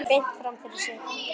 Horfir beint fram fyrir sig.